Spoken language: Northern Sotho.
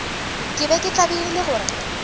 ke be ke tlabegile gore